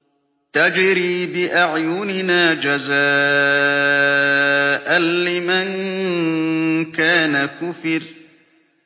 تَجْرِي بِأَعْيُنِنَا جَزَاءً لِّمَن كَانَ كُفِرَ